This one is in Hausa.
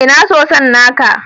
Ina soson naka?